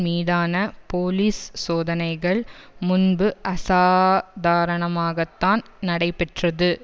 மீதான போலீஸ் சோதனைகள் முன்பு அசாதாரணமாகத்தான் நடைபெற்றது